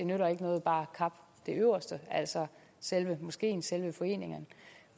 nytter noget bare at kappe det øverste af altså selve moskeen og selve foreningen